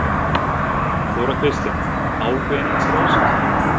Þóra Kristín: Ágreiningslaust?